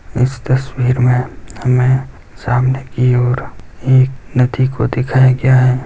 इस तस्वीर में हमें सामने की ओर एक नदी को दिखाया गया है।